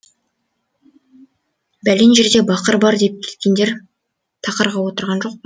бәлен жерде бақыр бар деп кеткендер тақырға отырған жоқ па